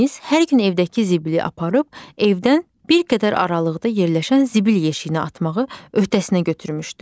Yunis hər gün evdəki zibili aparıb, evdən bir qədər aralıqda yerləşən zibil yeşiyinə atmağı öhdəsinə götürmüşdü.